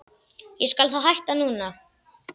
Ég skal þá hætta núna.